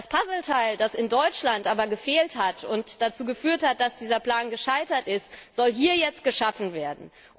Das Puzzleteil, das in Deutschland aber gefehlt hat, was dazu geführt hat, dass dieser Plan gescheitert ist, soll hier jetzt geschaffen werden.